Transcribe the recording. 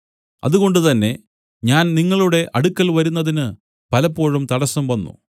അതുകൊണ്ടുതന്നെ ഞാൻ നിങ്ങളുടെ അടുക്കൽ വരുന്നതിന് പലപ്പോഴും തടസ്സം വന്നു